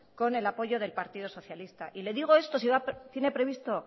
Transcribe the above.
con el apoyo del partido socialista y le digo esto si tiene previsto